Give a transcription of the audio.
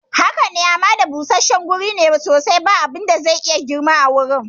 Haka ne, hamada busasshen guri ne sosai, ba abin da zai iya girma a wurin.